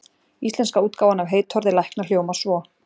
Íslenska útgáfan af heitorði lækna hljómar svo: